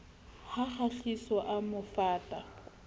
ha kgahliso a mo fata